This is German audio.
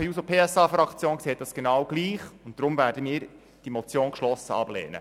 Die SP-JUSO-PSA-Fraktion sieht das genau gleich, und deshalb werden wir die Motion geschlossen ablehnen.